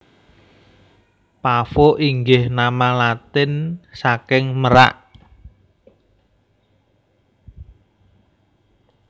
Pavo inggih nama Latin saking merak